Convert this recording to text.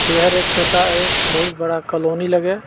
ए हर एक छोटा एक बहुत बड़ा कॉलोनी लगे।